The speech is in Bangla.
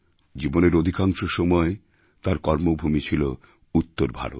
জীবনের অধিকাংশ সময় তাঁর কর্মভূমি ছিল উত্তর ভারত